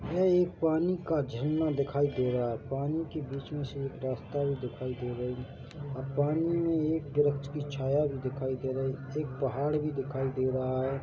यह एक पानी का झरना दिखाई दे रहा है पानी के बीच में से एक रास्ता भी दिखाई दे रही है ए पानी में एक दरख़्त की छाया भी दिखाई दे रही एक पहाड़ भी दिखाई दे रहा है।